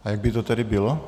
A jak by to tedy bylo?